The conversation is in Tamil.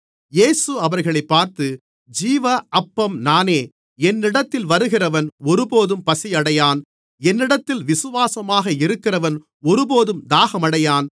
இயேசு அவர்களைப் பார்த்து ஜீவ அப்பம் நானே என்னிடத்தில் வருகிறவன் ஒருபோதும் பசியடையான் என்னிடத்தில் விசுவாசமாக இருக்கிறவன் ஒருபோதும் தாகமடையான்